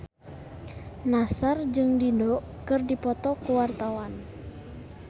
Nassar jeung Dido keur dipoto ku wartawan